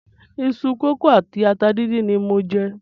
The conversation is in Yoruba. Iṣu kókò àti ata díndín ni mò ń jẹ.